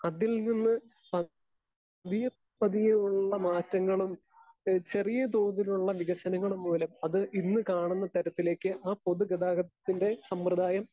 speaker 2 അതിൽനിന്ന് പ പതിയെ പ്പതിയെ ഉള്ള മാറ്റങ്ങളും ഏഹ് ചെറിയ തോതിലുള്ള വികസനങ്ങളും മൂലം അത് ഇന്ന് കാണുന്ന തരത്തിലേയ്ക്ക് ആ പൊതുഗതാഗതത്തിൻ്റെ സമ്പ്രദായം